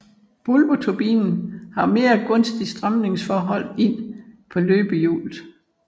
Bulbturbinen har mere gunstig strømningsforhold ind på løbehjulet